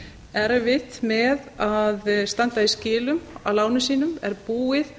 erfitt með að standa í skilum af lánum sínum er búið